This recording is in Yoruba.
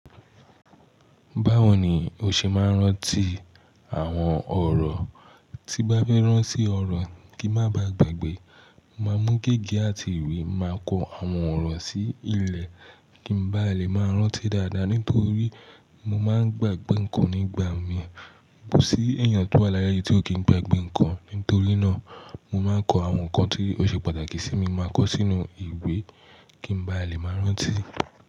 Báwo ni o ṣe máa ń rántí àwọn ọ̀rọ̀? Tí bá fẹ́ rán sí ọ̀rọ̀ kí má ba gbagbe, máa mú gègé àti ìwé, màá kọ àwọn ọ̀rọ̀ sí ilẹ̀ kí n bá lè máa rántí dáadáa. Nítorí mo máa ń gbàgbé ǹkan nígbà mìí, kò sí èèyàn tó wà láyé yìí tí ò kí ń gbagbe ǹkan. Nítorí náà, mo máa ń kọ àwọn ǹkan tí ó ṣe pàtàkì sí mi, mo máa kọ sínú ìwé kí n bá lè máa rántí.